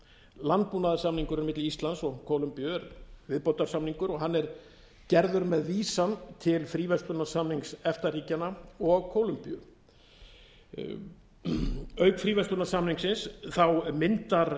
landbúnaðarsamningurinn milli íslands og kólumbíu er viðbótarsamningur og hann gerður með vísan til fríverslaanrsamninngs efta ríkjanna og kólumbíu auk fríverslunarsamningsins myndar